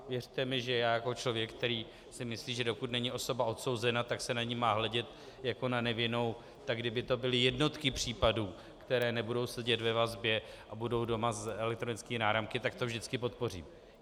Věřte mi, že já jako člověk, který si myslí, že dokud není osoba odsouzena, tak se na ni má hledět jako na nevinnou, tak kdyby to byly jednotky případů, které nebudou sedět ve vazbě a budou doma s elektronickými náramky, tak to vždycky podpořím.